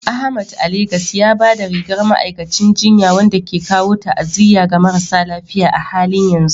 Ahmad a Legas ya ba da rigar ma'aikacin jinya, wanda ke kawo ta'aziyya ga marasa lafiya a halin yanzu.